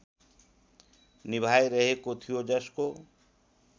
निभाइरहेको थियो जसको